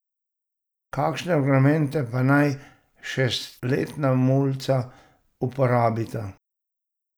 Kakšne argumente pa naj šestletna mulca uporabita?